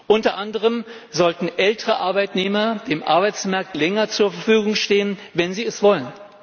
Unter anderem sollten ältere Arbeitnehmer dem Arbeitsmarkt länger zur Verfügung stehen, wenn sie es wollen.